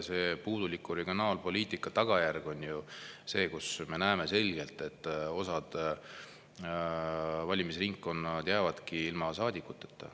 See on puuduliku regionaalpoliitika tagajärg, me näeme selgelt, et osa valimisringkondi jääbki ilma saadikuteta.